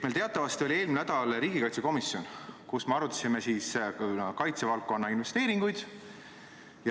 Meil teatavasti oli eelmine nädal riigikaitsekomisjoni istung, kus me arutasime kaitsevaldkonna investeeringuid.